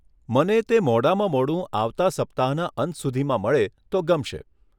મને તે મોડામાં મોડું આવતાં સપ્તાહના અંત સુધીમાં મળે તો ગમશે.